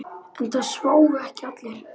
En það sváfu ekki allir.